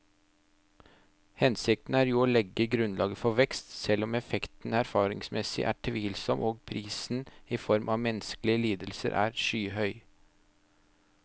Hensikten er jo å legge grunnlaget for vekst, selv om effekten erfaringsmessig er tvilsom og prisen i form av menneskelige lidelser er skyhøy.